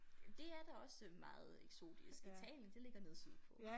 Ja det er da også øh meget eksotisk Italien det ligger nede sydpå